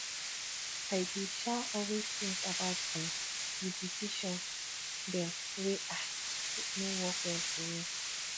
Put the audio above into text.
i dey um always tink about um di decision dem wey um no work well for me